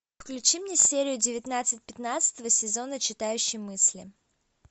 включи мне серию девятнадцать пятнадцатого сезона читающий мысли